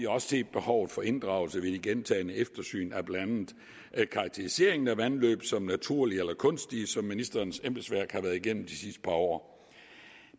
også set behovet for inddragelse ved de gentagne eftersyn af blandt andet karakteriseringen af vandløb som naturlige eller kunstige som ministerens embedsværk har været igennem de sidste par år